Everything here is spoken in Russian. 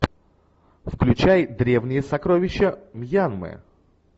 включай древние сокровища мьянмы